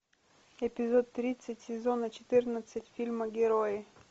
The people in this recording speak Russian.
эпизод тридцать сезона четырнадцать фильма герои